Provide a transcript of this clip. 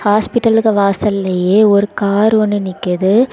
ஹாஸ்பிட்டலுக்கு வாசல்லையே ஒரு கார் ஒன்னு நிக்குது.